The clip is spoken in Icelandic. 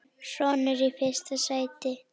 Sonur: Í fyrsta sæti.